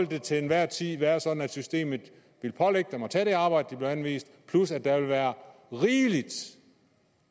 det til enhver tid være sådan at systemet vil pålægge dem at tage det arbejde de bliver anvist plus at der vil være rigeligt